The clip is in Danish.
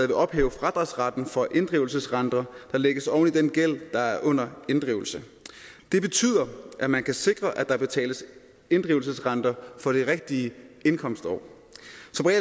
vil ophæve fradragsretten for inddrivelsesrenter der lægges oven i den gæld der er under inddrivelse det betyder at man kan sikre at der betales inddrivelsesrenter for det rigtige indkomstår